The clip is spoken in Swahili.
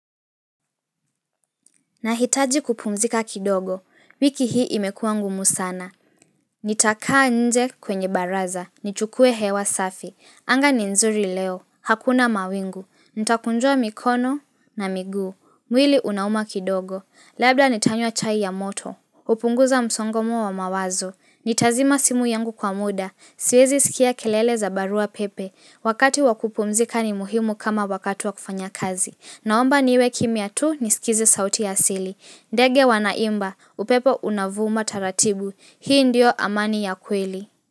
Nahitaji kupumzika kidogo, wiki hii imekuwa ngumu sana. Nitakaa nje kwenye baraza, nichukue hewa safi. Anga ni nzuri leo, hakuna mawingu, nitakunjua mikono na miguu. Mwili unauma kidogo, labda nitanywa chai ya moto. Upunguza msongomo wa mawazo, nitazima simu yangu kwa muda, siwezi sikia kelele za barua pepe. Wakati wakupumzika ni muhimu kama wakatu wa kufanya kazi. Naomba niwe kimya tu nisikize sauti ya asili ndege wanaimba, upepo unavuma taratibu Hii ndio amani ya kweli.